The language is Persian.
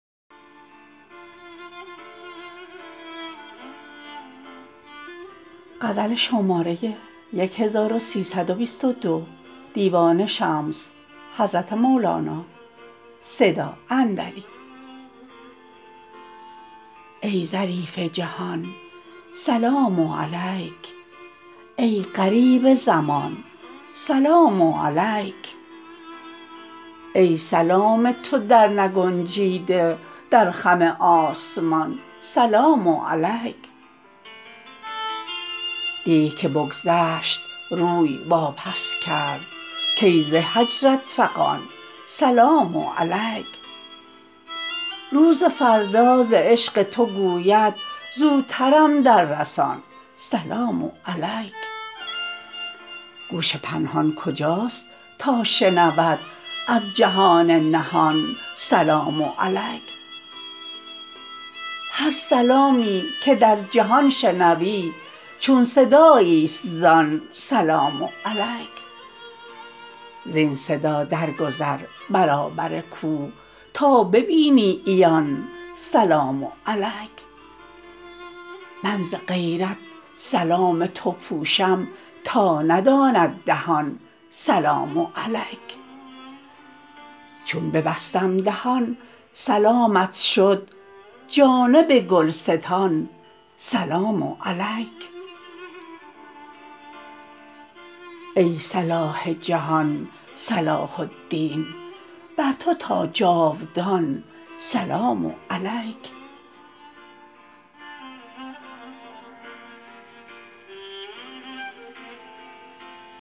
ای ظریف جهان سلام علیک ای غریب زمان سلام علیک ای سلام تو درنگنجیده در خم آسمان سلام علیک دی که بگذشت روی واپس کرد کای ز هجرت فغان سلام علیک روز فردا ز عشق تو گوید زوترم دررسان سلام علیک گوش پنهان کجاست تا شنود از جهان نهان سلام علیک هر سلامی که در جهان شنوی چون صداییست زان سلام علیک زین صدا درگذر برابر کوه تا ببینی عیان سلام علیک من ز غیرت سلام تو پوشم تا نداند دهان سلام علیک چون ببستم دهان سلامت شد جانب گلستان سلام علیک ای صلاح جهان صلاح الدین بر تو تا جاودان سلام علیک